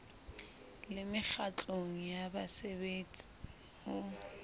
le mekgatlong ya baserbetsi ho